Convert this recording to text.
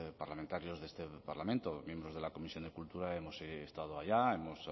parlamentarios de este parlamento miembros de la comisión de cultura hemos estado allá hemos